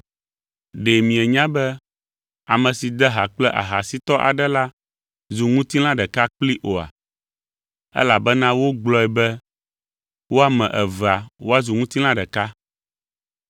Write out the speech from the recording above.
Ɖe mienya be ame si de ha kple ahasitɔ aɖe la zu ŋutilã ɖeka kplii oa? Elabena wogblɔe be, “Wo ame evea woazu ŋutilã ɖeka.”